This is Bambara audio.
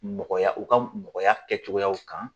Mɔgɔya u ka mɔgɔya kɛ cogoyaw kan